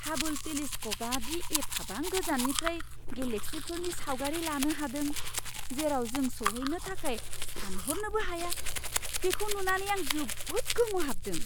हाबोल टेलिस्क'पआ दि एफाबां गोजाननिफ्राय गेलेक्सिफोरनि सावगारि लानो हादों, जेराव जों सौहैनो थाखाय सानहरनोबो हाया, बेखौ नुनानै आं जोबोद गोमोहाबदों!